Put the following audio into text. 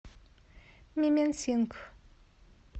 мименсингх